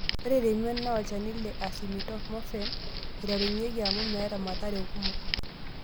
Ore temion, naa olchani le acetaminophen eiturenyieki amu meeta mathara kumok.